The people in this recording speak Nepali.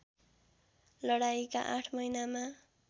लडाईँका ८ महिनामा